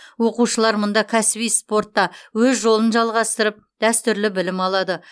оқушылар мұнда кәсіби спортта өз жолын жалғастырып дәстүрлі білім алады